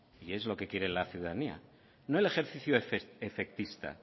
y es lo que quiere la ciudadanía no el ejercicio efectista